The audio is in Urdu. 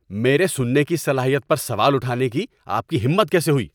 میرے سننے کی صلاحیت پر سوال اٹھانے کی آپ کی ہمت کیسے ہوئی؟